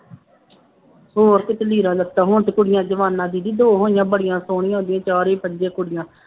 ਹੋਰ ਕੀ ਤੇ ਲੀੜਾ ਲੱਤਾ ਹੁਣ ਤੇ ਕੁੜੀਆਂ ਜ਼ਮਾਨਾ ਦੀਦੀ ਦੋ ਹੋਈਆਂ ਬੜੀਆਂ ਸੋਹਣੀਆਂ ਹੁੰਦੀਆਂ ਚਾਰੇ ਪੰਜੇ ਕੁੜੀਆਂ